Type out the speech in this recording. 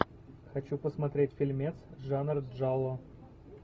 хочу посмотреть фильмец жанр джалло